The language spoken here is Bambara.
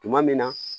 Tuma min na